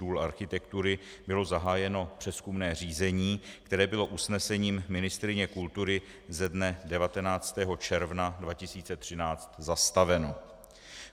Důl architektury bylo zahájeno přezkumné řízení, které bylo usnesením ministryně kultury ze dne 19. června 2013 zastaveno.